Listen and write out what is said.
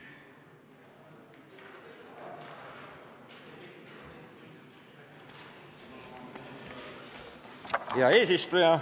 Hea eesistuja!